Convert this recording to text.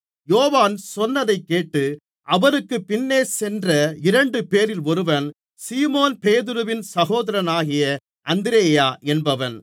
யோவான் சொன்னதைக் கேட்டு அவருக்குப் பின்னே சென்ற இரண்டுபேரில் ஒருவன் சீமோன் பேதுருவின் சகோதரனாகிய அந்திரேயா என்பவன்